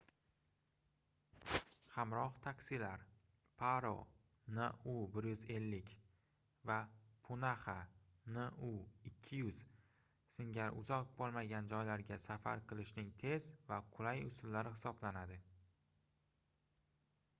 hamroh taksilar paro nu 150 va punaxa nu 200 singari uzoq bo'lmagan joylarga safar qilishning tez va qulay usullari hisoblanadi